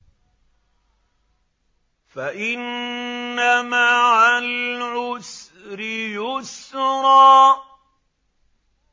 فَإِنَّ مَعَ الْعُسْرِ يُسْرًا